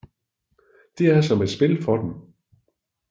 Det er som et spil for dem